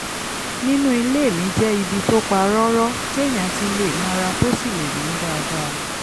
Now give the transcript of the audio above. nínú ilé mi jẹ́ ibi tó pa rọ́rọ́ téèyàn ti lè nara tó sì lè mí dáadáa